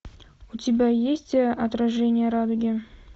у тебя есть отражение радуги